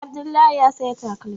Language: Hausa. Abdullahi ya saya takalmi